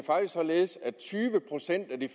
således at tyve procent af de